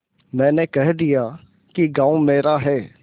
मैंने कह दिया कि गॉँव मेरा है